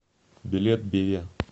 билет беве